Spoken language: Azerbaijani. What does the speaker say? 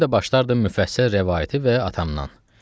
Mən də başlardım müfəssəl rəvayəti və atamdan.